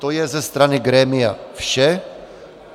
To je ze strany grémia vše.